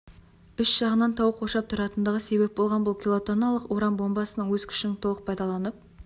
үш жағынан тау қоршап тұратындығы себеп болған бұл килотонналық уран бомбасының өз күшін толық пайдаланып